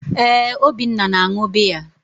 ee, Obinna na-añụ biya.